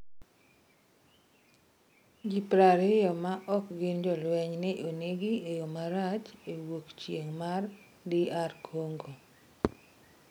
Ji prariyo ma ok gin jolweny ne onegi e yo marach e wuok chieng' mar DR Kongo